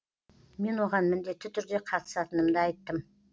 мен оған міндетті түрде қатысатынымды айттым